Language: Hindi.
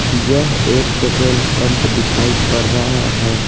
यह एक पेट्रोल पंप दिखाईपर रहा है।